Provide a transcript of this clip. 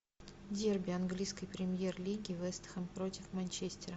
дерби английской премьер лиги вест хэм против манчестера